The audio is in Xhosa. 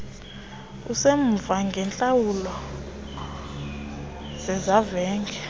usemva ngeentlawulo zezavenge